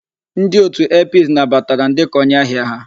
Ndi otu Airpeace nabatara m dị ka onye ahia ha.